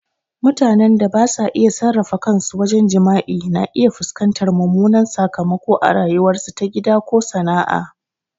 Mutanen da basa iya sarrafa kansu wajen jima'i na iya fuskantar mummunan sakamako a rayuwarsu ta gida ko sana'a.